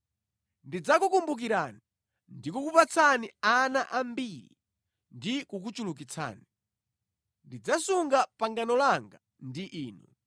“ ‘Ndidzakukumbukirani ndi kukupatsani ana ambiri ndi kukuchulukitsani. Ndidzasunga pangano langa ndi inu.